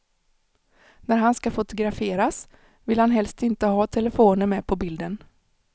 När han ska fotograferas, vill han helst inte ha telefoner med på bilden.